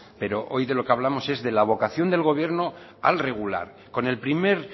pero hoy de lo que hablamos es de la vocación del gobierno al regular con el primer